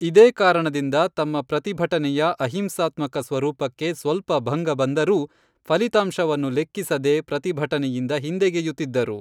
ಇದೇ ಕಾರಣದಿಂದ ತಮ್ಮ ಪ್ರತಿಭಟನೆಯ ಅಹಿಂಸಾತ್ಮಕ ಸ್ವರೂಪಕ್ಕೆ ಸ್ವಲ್ಪ ಭಂಗ ಬಂದರೂ ಫಲಿತಾಂಶವನ್ನು ಲೆಕ್ಕಿಸದೆ ಪ್ರತಿಭಟನೆಯಿಂದ ಹಿಂದೆಗೆಯುತ್ತಿದ್ದರು.